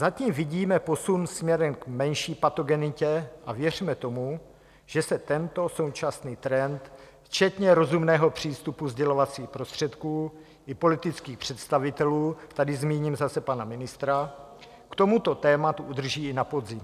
Zatím vidíme posun směrem k menší patogenitě a věřme tomu, že se tento současný trend včetně rozumného přístupu sdělovacích prostředků i politických představitelů, tady zmíním zase pana ministra, k tomuto tématu udrží i na podzim.